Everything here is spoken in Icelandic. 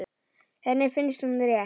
Henni finnst hún rétt.